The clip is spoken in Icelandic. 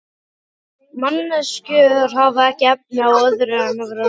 Manneskjur hafa ekki efni á öðru en vera raunsæjar.